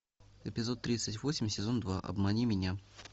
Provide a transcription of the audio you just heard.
эпизод тридцать восемь сезон два обмани меня